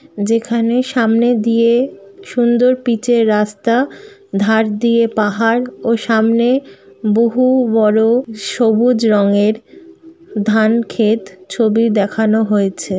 যেখানে সামনে দিয়ে সুন্দর পিচের রাস্তা | ধার দিয়ে পাহাড় ও সামনে বহু বড়ো সবুজ রঙের ধান খেত ছবি দেখানো হয়েছে।